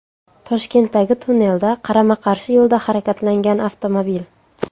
Toshkentdagi tunnelda qarama-qarshi yo‘lda harakatlangan avtomobil .